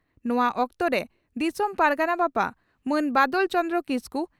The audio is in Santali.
ᱱᱚᱣᱟ ᱚᱠᱛᱚᱨᱮ ᱫᱤᱥᱚᱢ ᱯᱟᱨᱜᱟᱱᱟ ᱵᱟᱵᱟ ᱢᱟᱱ ᱵᱟᱫᱚᱞ ᱪᱚᱱᱫᱨᱚ ᱠᱤᱥᱠᱩ